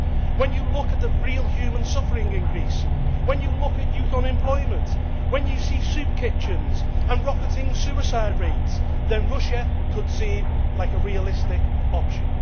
When you look at the real human suffering in Greece, when you look at youth unemployment, when you see soup kitchens and rocketing suicide rates, then Russia could seem like a realistic option.